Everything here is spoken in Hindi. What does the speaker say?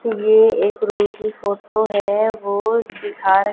ये एक रूम की फोटो है वो दिखा रही।